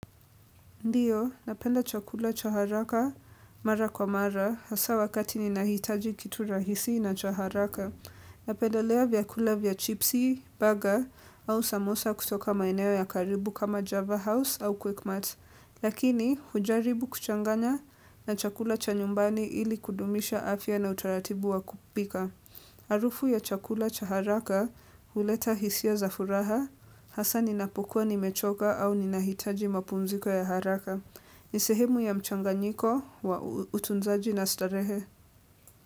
Ndio, napenda chakula cha haraka mara kwa mara, hasa wakati ninahitaji kitu rahisi na cha haraka. Napendelea vyakula vya chipsi, baga, au samosa kutoka maeneo ya karibu kama Java House au quickmart. Lakini, hujaribu kuchanganya na chakula cha nyumbani ili kudumisha afya na utaratibu wa kupika. Harufu ya chakula cha haraka, huleta hisia za furaha, hasa ninapokuwa nimechoka au ninahitaji mapumziko ya haraka. Ni sehemu ya mchanganyiko, utunzaji na starehe.